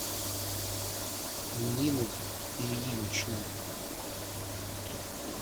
ниной ильиничной